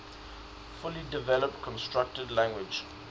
fully developed constructed language